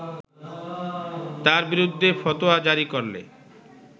তার বিরুদ্ধে ফতোয়া জারি করলে